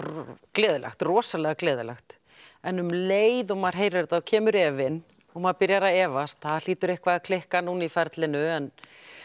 gleðilegt rosalega gleðilegt en um leið og maður heyrir þetta kemur efinn og maður byrjar að efast það hlýtur eitthvað að klikka núna í ferlinu en